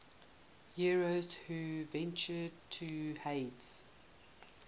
heroes who ventured to hades